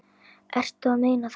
Ertu að meina þetta?